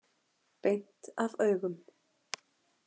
Beint af augum.